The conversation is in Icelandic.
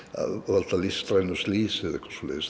valda listrænu slysi